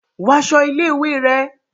Wọ aṣọ ilé-ìwé rẹ!